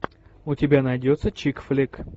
у тебя найдется чик флик